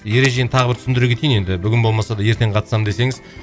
ережені тағы бір түсіндіре кетейін енді бүгін болмаса да ертең қатысамын десеңіз